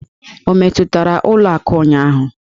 O metụtara ụlọ akụ ụnyaahụ?